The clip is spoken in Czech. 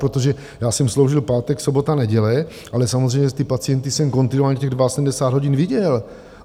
Protože já jsem sloužil pátek, sobota, neděle, ale samozřejmě ty pacienty jsem kontinuálně těch 72 hodin viděl.